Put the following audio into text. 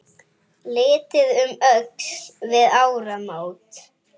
Litið um öxl við áramót.